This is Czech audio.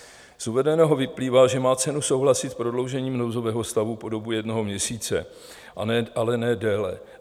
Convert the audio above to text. Z uvedeného vyplývá, že má cenu souhlasit s prodloužením nouzového stavu po dobu jednoho měsíce, ale ne déle.